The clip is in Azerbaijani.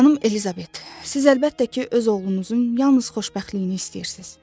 Xanım Elizabet, siz əlbəttə ki, öz oğlunuzun yalnız xoşbəxtliyini istəyirsiz.